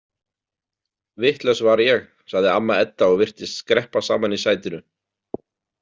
Vitlaus var ég, sagði amma Edda og virtist skreppa saman í sætinu.